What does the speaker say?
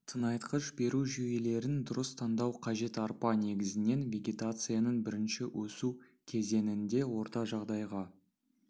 тыңайтқыш беру жүйелерін дұрыс таңдау қажет арпа негізінен вегетацияның бірінші өсу кезеңінде орта жағдайға